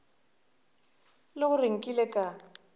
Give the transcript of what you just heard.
e le gore nkile ka